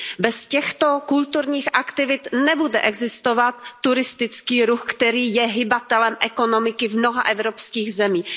Bez těchto kulturních aktivit nebude existovat turistický ruch, který je hybatelem ekonomiky v mnoha evropských zemích.